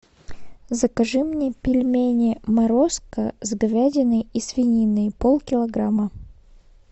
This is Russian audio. закажи мне пельмени морозко с говядиной и свининой полкилограмма